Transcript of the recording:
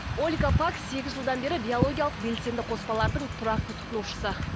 ольга пак сегіз жылдан бері биологиялық белсенді қоспалардың тұрақты тұтынушысы